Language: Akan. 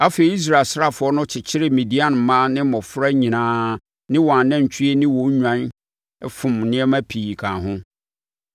Afei, Israel asraafoɔ no kyekyeree Midian mmaa ne mmɔfra nyinaa ne wɔn anantwie ne wɔn nnwan fom nneɛma pii kaa ho.